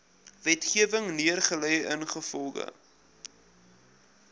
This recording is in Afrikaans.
wetgewing neergelê ingevolge